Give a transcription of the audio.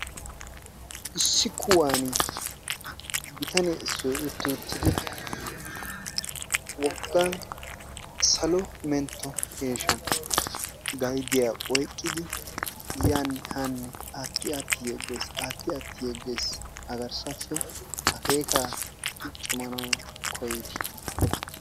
Issi kuwani bitane issoy utti uttidi woga salo mentto kesha gaydiya oyqqidi yaanne haanne aatti aatti yegges, aatti aatti yegges a garssappe akkeekka cuucumanawu koyidi.